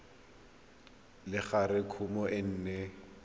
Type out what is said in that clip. le gore kumo e ne